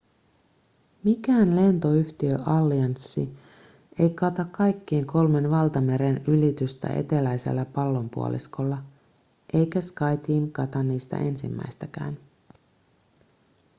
mikään lentoyhtiöallianssi ei kata kaikkien kolmen valtameren ylitystä eteläisellä pallonpuoliskolla eikä skyteam kata niistä ensimmäistäkään